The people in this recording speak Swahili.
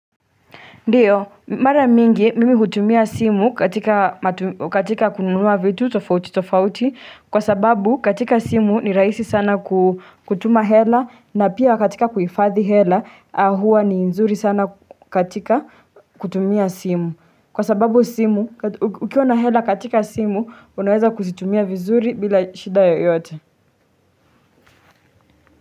Ndiyo mara mingi mimi utumia simu katika kunumua vitu tofauti tofauti kwa sababu katika simu ni raisi sana kutuma hela na pia katika kuifathi hela ahua ni nzuri sana katika kutumia simu Kwa sababu simu ukiona hela katika simu unaweza kusitumia vizuri bila shida yoyote.